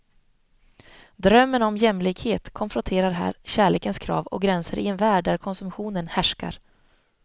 Drömmen om jämlikhet konfronterar här kärlekens krav och gränser i en värld där konsumtionen härskar.